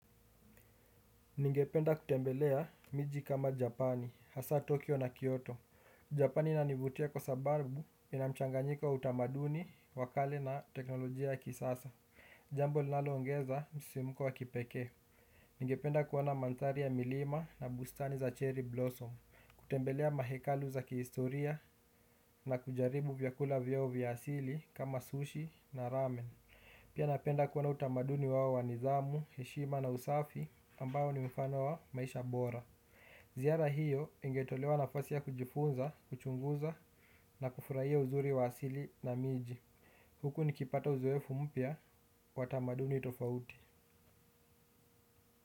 Ningependa kutembelea miji kama Japani, hasa Tokyo na Kyoto. Japani inanivutia kwa sababu ina mchanganyika utamaduni, wa kale na teknolojia ya kisasa. Jambo linaloongeza msimuko wa kipekee. Ningependa kuona manthari ya milima na bustani za cherry blossom. Kutembelea mahekalu za kihistoria na kujaribu vyakula vyao vya asili kama sushi na ramen. Pia napenda kuona utamaduni wao wa nidhamu, heshima na usafi ambao ni mfano wa maisha bora. Ziara hiyo ingetolewa nafasi ya kujifunza, kuchunguza na kufurahia uzuri wa asili na miji. Huku nikipata uzoefu mpya, wa tamaduni tofauti.